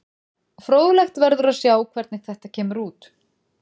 Fróðlegt verður að sjá hvernig þetta kemur út.